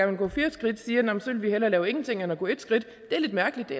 vil gå fire skridt siger at så vil de hellere lave ingenting end at gå et skridt det er lidt mærkeligt det